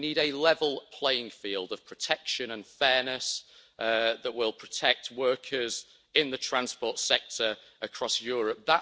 We need a level playing field of protection and fairness that will protect workers in the transport sector across Europe.